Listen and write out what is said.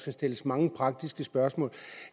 skal stilles mange praktiske spørgsmål